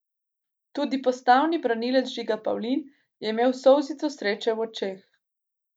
Tudi postavni branilec Žiga Pavlin je imel solzico sreče v očeh.